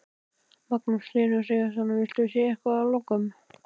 Magnús Hlynur Hreiðarsson: Viltu segja eitthvað að lokum?